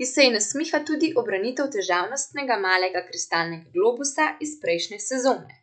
ki se ji nasmiha tudi ubranitev težavnostnega malega kristalnega globusa iz prejšnje sezone.